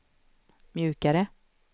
mjukare